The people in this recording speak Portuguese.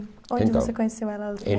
Então... Onde você conheceu ela?